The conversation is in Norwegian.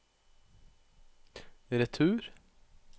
retur